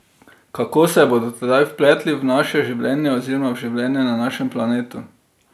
Kako se bodo tedaj vpletli v naše življenje oziroma v življenje na našem planetu?